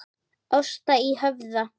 Ásta í Höfða.